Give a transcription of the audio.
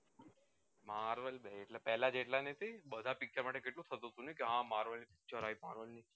marvel પેલા જેટલા ની હતી બધા picture માટે કેટલું થતું હતું કે હ marvel ની movie છે